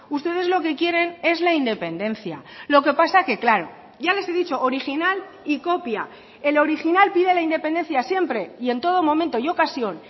ustedes lo que quieren es la independencia lo que pasa que claro ya les he dicho original y copia el original pide la independencia siempre y en todo momento y ocasión